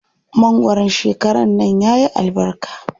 Mangwaron shekaran nan yayi albarka.